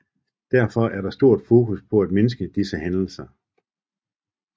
Derfor er der stort fokus på at mindske disse hændelser